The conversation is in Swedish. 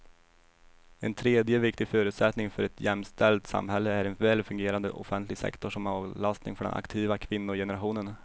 En tredje viktig förutsättning för ett jämställt samhälle är en väl fungerande offentlig sektor som avlastning för den aktiva kvinnogenerationen.